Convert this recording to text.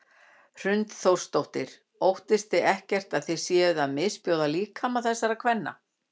Hrund Þórsdóttir: Óttist þið ekkert að þið séuð að misbjóða líkama þessara kvenna?